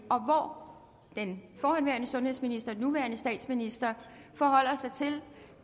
den forhenværende sundhedsminister nuværende statsminister forholder sig til